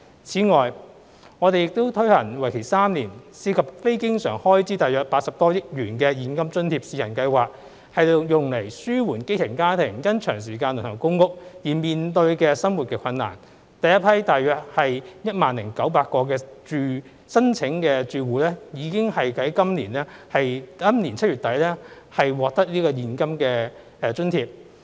此外，我們已推出為期3年、涉及非經常開支約80多億元的現金津貼試行計劃，以紓緩基層家庭因長時間輪候公屋而面對的生活困難，第一批約 10,900 個申請住戶已於今年7月底獲發現金津貼。